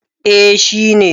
Eh shi ne.